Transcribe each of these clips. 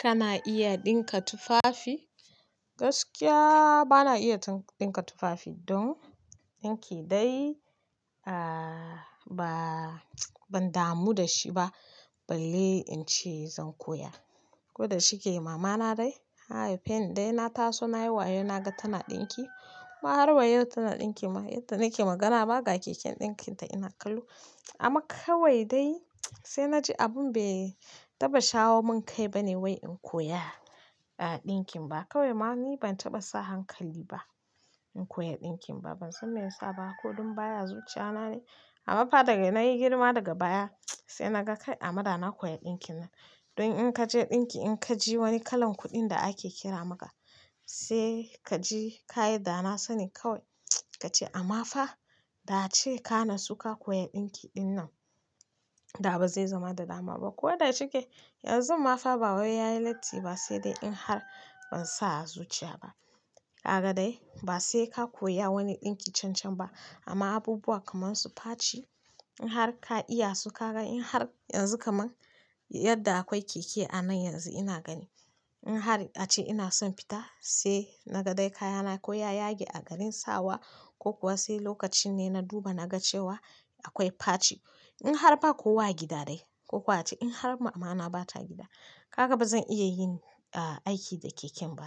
Kana iya ɗinka tufafi? Gaskiya bana iya ɗinka tufafi. Don ɗinki dai, aaaa, ban damu da shi ba. Balle in ce zan koya. Ko da shike mama na dai, ta hai feni dai na taso nayi wayo naga tana ɗinki. Ma har wa yau tana ɗinkin ma, yadda nake magana ma ga keken ɗinkin ta ina kallo. Amma kawai dai, sai naji abun bai taɓa shawo mun kai bane wai in koya, aaaa ɗinkin ba. Kawai ma ni ban taɓa sa hankali ba, in koya ɗinkin ba. Ban san me yasa ba, ko don baya zuciya na ne. Amma fa daga ina nayi girma daga baya, sai naga kai amma da na koya ɗinkin nan. Don in kaje ɗinki in kaji wani kalar kuɗi da ake kira maka se kaji kayi dana sani kawae, kace ammafa da'ace ka natsu ka koyi ɗinki ɗin nan amma kawai dai, sai naji abun bai taɓa shawo mun kai bane wai in koya, aaaa ɗinkin ba. Kawai ma ni ban taɓa sa hankali ba, in koya ɗinkin ba. Ban san me yasa ba, ko don baya zuciya na ne. Amma fa daga ina nayi girma daga baya, sai naga kai amada na koya ɗinkin nan. Don in kaje ɗinki in ka ji wani kalan kuɗin da ake kira maka, sai kaji kayi da na sani kawai kace amma fa, da ce ka na suka koya ɗinkiɗin nan. Da ba zai zama da dama ba. Ko da shike yanzu ma fa ba wai yayi lati ba sai dai in har ban sa a zuciya ba. Haka dai, ba sai ka koya wani ɗinki cancan ba. Amma abubuwa kaman su faci, in har ka iya su ka gan in har yanzu kaman, yadda akwai keke a nan yanzu ina gani. In har ace ina son fita, sai naga dai kayana koyaya yake a garin sawa ko kuwa sai lokaci ne na duba naga cewa akwai faci. Kaga wannan kuma ba daɗi take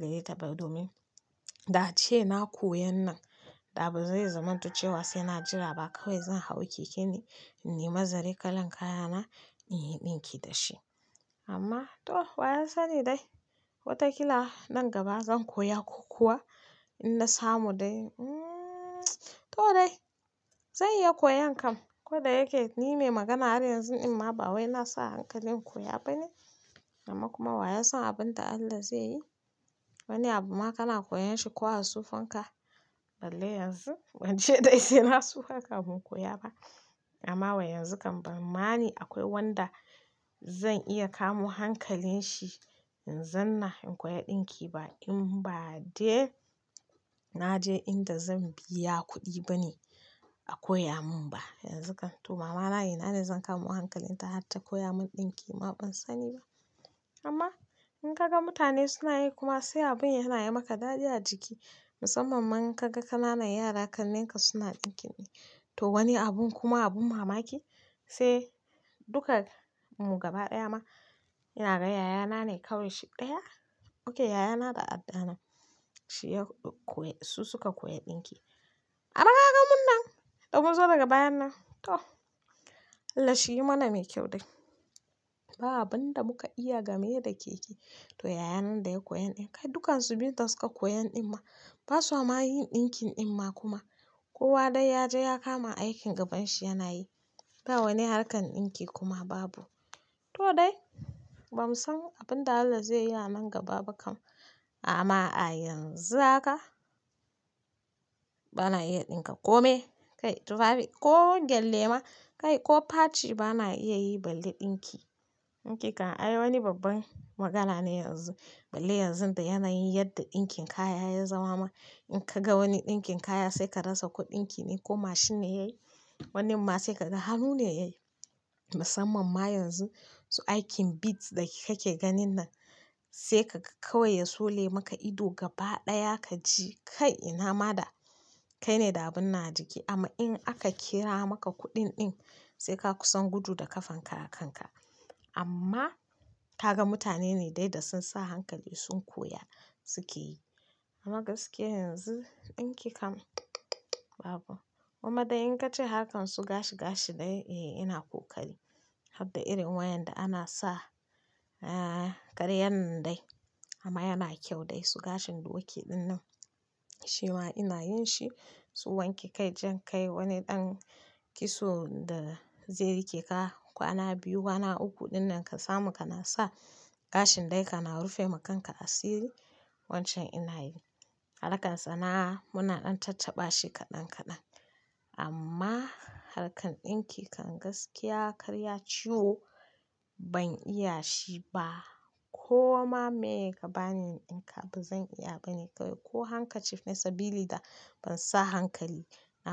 gayya ta ba domin, da ace na koyon nan, da ba zai zamanto cewa sai na jira ba kawai zan hau keke ne, in ne ma zare kalan kayana, in yi ɗinki dashi. Amma to wa ya sani dai, watakila nan gaba zan koya ko kuwa in na samu dai, hmmm to dai, zan iya koyon kam. Ko da yake ni mai magana har yanzu in ma bawai nasa hankalin koya bane. Amma kuma wa ya san abin da Allah zai yi. Wani abu ma kana koyan shi ko a sufanka, balle yanzu bance dai sai na sufa kamin in koya ba. Anma wa yanzu kam ban mani akwai wanda zan iya kamo hankalin shi in zauna in koyi ɗinki ba in ba dai naje inda zan biya kuɗi bane a koya min ba yanzu kam to mama ina ne zan kamo hankalin ta har ta koya min ɗinki ban sani ba amma in kaga mutane suna yi kuma sai abun yana yi maka daɗi a jiki, musamman in kaga ƙananan yara ƙannenka suna ɗinkin ne. To wani abun kuma abin mamaki, sai duka mugaba ɗaya ma, ina ga yayana ne kawai shi ɗaya. Oke yayana da adda na, shi ya koyi su suka koya ɗinki. Anma kagan mun nan da mun zo daga bayan nan to Allah shiyi mana mai kyau dai ba abun da muka iya game da keke. To yaya nan da ya koyon ɗin kai dukan su biyun da suka koyon ɗin ma. Ba sa ma yin ɗinkin ɗin ma kuma. Kowa dai yaje ya kama aikin gabanshi yana yi. Ba wani harkar ɗinki kuma babu. To dai, bamu san abin da Allah zai yi a nan gaba ba kam. Amma a yanzu haka, bana iya ɗinka kome, kai tufafi ko gele ma, kai ko faci bana iya yi balle ɗinki. Ɗinki kan ai wani babban magana ne yanzu. Balle yanzu da yana yin yadda ɗinkin kaya ya zama ma in kaga wani ɗinkin kaya sai ka rasa kuɗinki ne ko mashin ne yayi, wanin ma sai ka ga hannu ne yayi. Musamman ma yanzu, su aikin beads dake kake ganin nan, sai kaga kawai yasole maka ido gaba ɗaya kaji kai ina ma da, kai ne da abun nan a jiki. Amma in aka kira maka kuɗin ɗin, sai ka kusan gudu da kafan ka a kan ka. Amma kaga mutane ne dai da sun sa hankali sun koya suke yi. Amma gaskiya yanzu ɗinki kam babu. Kuma dai in kace harkan su gashi gashi dai, eh ina ko kari. Har da irin wayan da ana sa, aaaa karyan nan dai. Amma yana kyau dai su gashin doki ɗin nan. Shi ma ina yin shi, su wanke kai jan kai wani ɗan kitso da zai rike ka kwana biyu, kwana uku ɗin nan ka samu kana sa. Gashin dai kana rufe ma kanka asiri, wancan ina yi. Harkan sana'a muna ɗan tattaɓashi kaɗan kaɗan amma harkar ɗinki kan gaskiya karya ciwo ban iya shi ba. Ko ma meye kabani in ɗinka bazan iya bane kawai ko hanka cif ne sabili da ban sa hankali na.